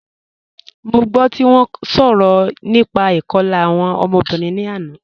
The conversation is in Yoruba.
Mo gbọ ti wọn sọrọ nípà ikọ̀la awọn ọmọ̀bìrín ni àná